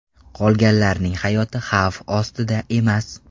Qolganlarning hayoti xavf ostida emas.